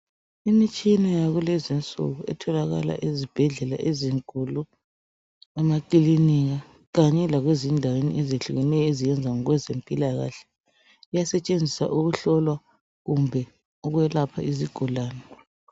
Imitshina yakulezinsuku etholakala ezibhedlela ezinkulu, emakilinika kanye lakwezindaweni ezehlukeneyo eziyenza ngezimpilakahle. Iyasetshenziswa ukuhlola kumbe ukwelapha izigulane.